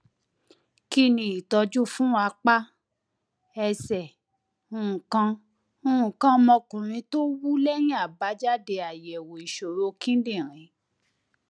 kí ni ìtọjú fún apá ẹsẹ nǹkan nǹkan ọmọkuùnrin tó wú lẹyìn àbájáde àyẹwò ìṣòro kidinrin